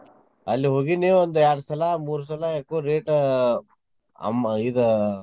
ಅಲ್ಲೇ ಹೋಗಿನ್ನಿ ಒಂದ್ಯಾರ್ಡ್ ಸಲಾ ಮೂರ್ ಸಲಾ ఎక్కువ rate ಅಮ್ಮ್ ಇದ್.